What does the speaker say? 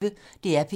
DR P1